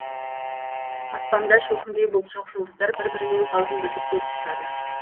аспанда шөкімдей бұлт жоқ жұлдыздар бір бірімен қалжыңдасып көз қысысады